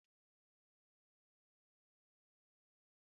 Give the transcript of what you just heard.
Olee gésha m hapụrụ na fịrij?